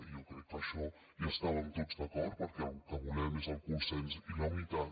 i jo crec que en això hi estàvem tots d’acord perquè el que volem és el consens i la unitat